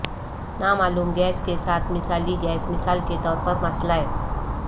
نامعلوم گیس کے ساتھ مثالی گیس مثال کے طور پر مسئلہ